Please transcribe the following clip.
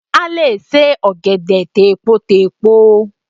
A lè se Ọ̀gẹ̀dẹ̀ tèpotèpo